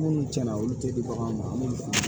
Minnu tiɲɛna olu tɛ di baganw ma an b'olu faamu